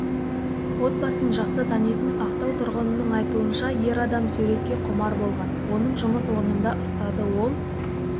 отбасын жақсы танитын ақтау тұрғынының айтуынша ер адам суретке құмар болған оны жұмыс орнында ұстады ол